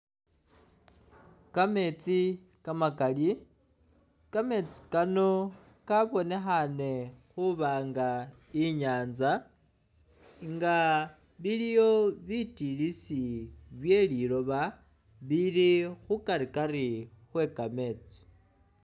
Kameetsi kamakali, kameetsi kano kabonekhana khuba nga i'nyaanza nga biliwo bitilisi bye liloba bili khukarikari khwe kameetsi.